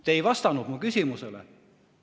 Te ei vastanud mu küsimusele.